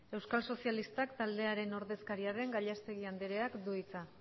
euskal sozialistak taldearen ordezkaria den gallastegui andreak du hitza